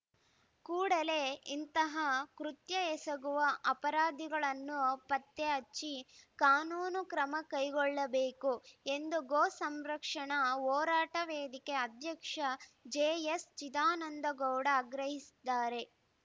ಕೂಡಲೆ ಇಂತಹ ಕೃತ್ಯ ಎಸಗುವ ಅಪರಾಧಿಗಳನ್ನು ಪತ್ತೆ ಹಚ್ಚಿ ಕಾನೂನು ಕ್ರಮ ಕೈಗೊಳ್ಳಬೇಕು ಎಂದು ಗೋಸಂರಕ್ಷಣಾ ಹೋರಾಟ ವೇದಿಕೆ ಅಧ್ಯಕ್ಷ ಜೆಎಸ್‌ಚಿದಾನಂದಗೌಡ ಆಗ್ರಹಿಸಿದ್ದಾರೆ